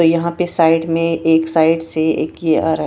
तो यहां पे साइड में एक साइड से एक ये आरा है।